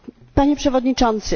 Panie Przewodniczący!